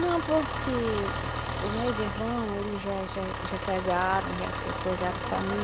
Não, porque os meus irmão, eles já já já casaram, já coisaram família.